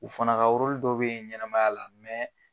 U fana ka dɔ bɛ yen ɲɛnɛmaya la,